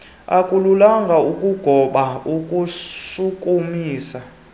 akululanga ukugoba ukushukumisa